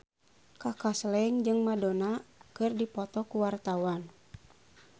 Kaka Slank jeung Madonna keur dipoto ku wartawan